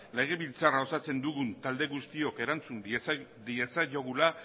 legebiltzarra osatzen dugun talde guztiok erantzun diezaiogula